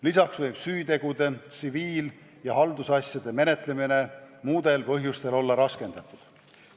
Lisaks võib süüteo-, tsiviil- ja haldusasjade menetlemine olla muudel põhjustel raskendatud.